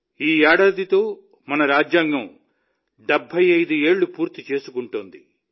ఈ ఏడాదితో మన రాజ్యాంగం 75 ఏళ్లు పూర్తి చేసుకుంటోంది